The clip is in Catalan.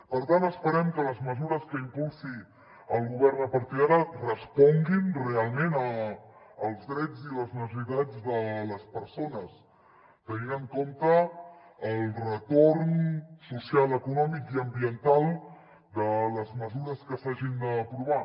per tant esperem que les mesures que impulsi el govern a partir d’ara responguin realment als drets i les necessitats de les persones tenint en compte el retorn social econòmic i ambiental de les mesures que s’hagin d’aprovar